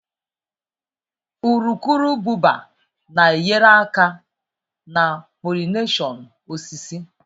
Urukurububa na-enyere aka na pollination osisi.